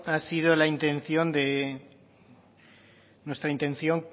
ha sido nuestra intención